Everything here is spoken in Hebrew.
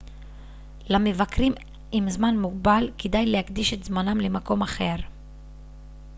למבקרים עם זמן מוגבל כדאי להקדיש את זמנם למקום אחר